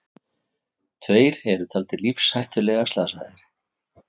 Tveir eru taldir lífshættulega slasaðir